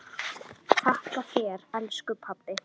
Þakka þér elsku pabbi.